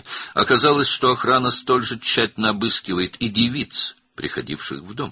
Məlum oldu ki, mühafizə evinə gələn qızları da eyni diqqətlə yoxlayır.